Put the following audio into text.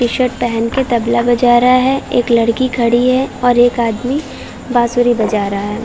T shirt पहनके तबला बजा रहा है। एक लड़की खड़ी है और एक आदमी बांसुरी बजा रहा है।